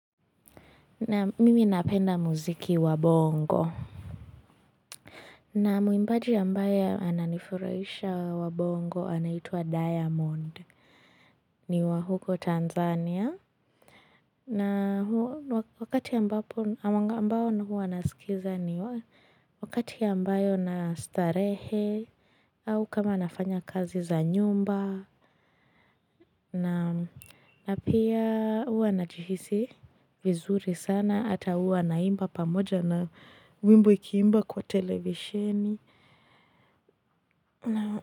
Naam mimi napenda muziki wa bongo. Na muimbaji ambaye ananifuraisha wa bongo anaitwa Diamond. Niwa huko Tanzania. Na wakati ambao na wakati ambayo na starehe. Au kama nafanya kazi za nyumba. Naam na pia huwa najihisi vizuri sana. Hata huwa naimba pamoja na wimbo ikiimba kwa televisieni.